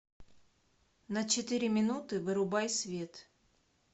на четыре минуты вырубай свет